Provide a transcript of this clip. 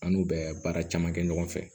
An n'u bɛ baara caman kɛ ɲɔgɔn fɛ